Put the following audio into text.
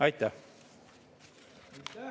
Aitäh!